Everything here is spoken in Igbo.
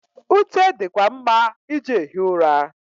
Ute di kwa mma iji ehi ụra.